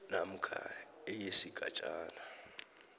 namkha e yesigatjana